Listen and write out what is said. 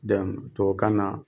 Donc tubabu kan na